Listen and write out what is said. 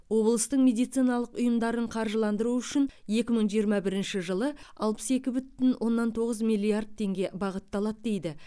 облыстың медициналық ұйымдарын қаржыландыру үшін екі мың жиырма бірінші жылы алпыс екі бүтін оннан тоғыз миллиард теңге бағытталады дейді